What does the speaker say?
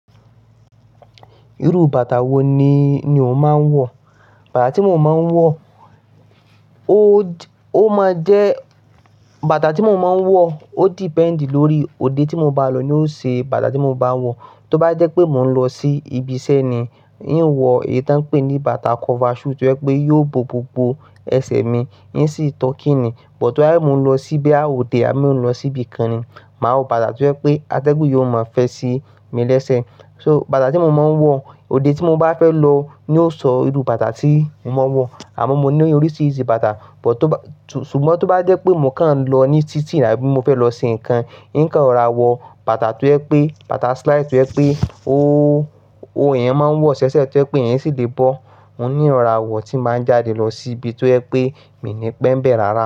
Irú bàtà wo ni, ni o máa ń wọ̀? Bàtà tí mo máa ń wọ̀, ó máa jẹ́, bàtà tí mo máa ń wọ̀, ó depend lórí òde tí mo bá lọ̀ ni yóò ṣe bàtà tí mo máa ń wọ̀. Tó bá jẹ́ pé mò ń lọ sí ibi iṣẹ́ ni, ì ń wọ èyí tí wọ́n ń pè ní bàtà cover shoe tí ẹ pé yóò bo gbogbo ẹsẹ̀ mi, ì ń sì tọ́kì ni. But tó bá, mo ń lọ síbi àwọn òde à mí ò ń lọ síbi kan ni, màá wọ bàtà tí ẹ pé atẹ́gùn yóò máa fẹ́ sí mi lẹ́sẹ̀. So bàtà tí mo máa ń wọ̀, òde tí mo bá fẹ́ lọ ni yóò sọ irú bàtà tí mò ń wọ̀. Àmọ́ mo ní oríṣiríṣi bàtà, but tó ba-- ṣùgbọ́n tó bá jẹ́ pé mò ń kàn ń lọ ní títì àbí mo fẹ́ lọ ṣe nǹkan, hìń kàn rọra wọ bàtà tó ẹ pé, bàtà slide tó ẹ pé o, o yẹn máa ń wọ ṣẹ́ṣẹ́ tó ẹ pé ìyẹn sì lè bọ́. Oun ní rọ̀rá wọ̀ tí mbàá jáde lọ sí ibi tí ẹ pé mi ní pẹ́ mbẹ̀ rárá.